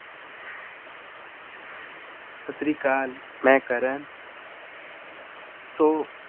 ਸਤਿ ਸ੍ਰੀ ਅਕਾਲ ਮੈਂ ਕਰਨ ਸੋ